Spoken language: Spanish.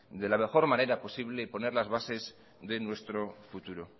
de la mejor manera posible y poner las bases de nuestro futuro